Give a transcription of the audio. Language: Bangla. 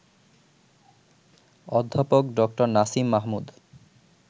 অধ্যাপক ড. নাসিম মাহমুদ